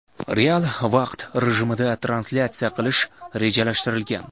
real vaqt rejimida translyatsiya qilish rejalashtirilgan.